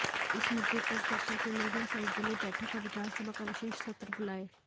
इस मुद्दे पर चर्चा के लिए वह सर्वदलीय बैठक और विधानसभा का विशेष सत्र बुलाये